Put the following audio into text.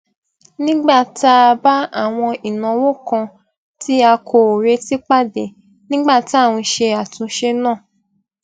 nígbà tá a bá àwọn ìnáwó kan tí a kò retí pàdé nígbà tí à n ṣe àtúnṣe náà